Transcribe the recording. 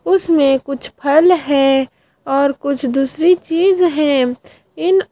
उसमें कुछ फल है और कुछ दूसरी चीज है इन--